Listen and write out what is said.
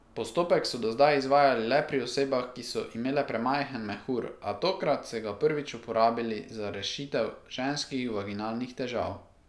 Postopek so do zdaj izvajali le pri osebah, ki so imele premajhen mehur, a tokrat se ga prvič uporabili za rešitev ženskih vaginalnih težav.